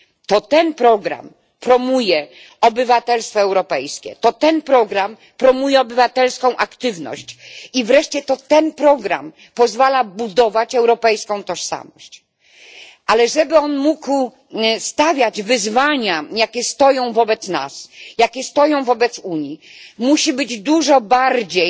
To ten program promuje obywatelstwo europejskie, to ten program promuje obywatelską aktywność i wreszcie to ten program pozwala budować europejską tożsamość, ale żeby mógł on sprostać wyzwaniom stojącym przed nami i przed Unią, musi być dużo bardziej